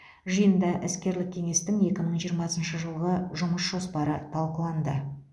жиында іскерлік кеңестің екі мың жиырмасыншы жылғы жұмыс жоспары талқыланды